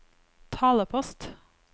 talepost